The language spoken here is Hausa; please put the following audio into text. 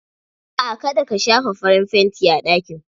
Aa ka da ka shafa farin fanti a ɗakin.